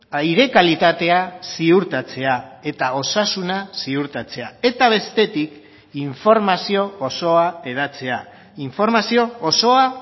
aire kalitatea ziurtatzea eta osasuna ziurtatzea eta bestetik informazio osoa hedatzea informazio osoa